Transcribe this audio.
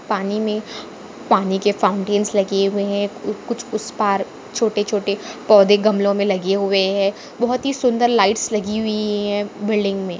पानी में पानी के फॉउन्टेंस लगे हुए है ऊ कुछ उस पार छोटे छोटे पौधे गमलों मे लगे हुए है बहुत ही सुंदर लाइट्स लगी हुई है बिल्डिंग में।